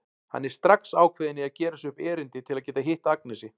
Hann er strax ákveðinn í að gera sér upp erindi til að geta hitt Agnesi.